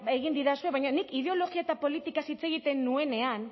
egin didazue baina nik ideologia eta politikaz hitz egiten nuenean